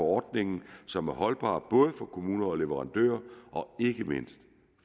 ordningen som er holdbare både for kommuner og leverandører og ikke mindst